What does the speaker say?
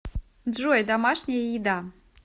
джой домашняя еда